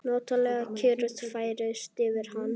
Notaleg kyrrð færist yfir hann.